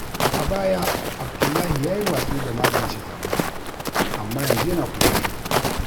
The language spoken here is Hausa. A baya, Abdullahi ya yi watsi da magance damuwa, amma yanzu yana ƙoƙari.